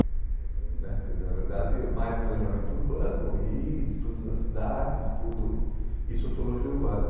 né quer dizer, na verdade, mais planejamento urbano e estudo da cidade, estudo e sociologia urbana.